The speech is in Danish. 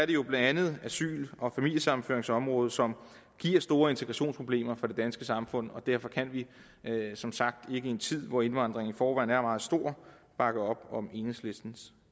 det jo blandt andet asyl og familiesammenføringsområdet som giver store integrationsproblemer for det danske samfund og derfor kan vi som sagt ikke i en tid hvor indvandringen i forvejen er meget stor bakke op om enhedslistens